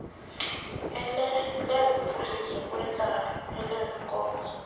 lezophuhliso lwentlalo elezeenkonzo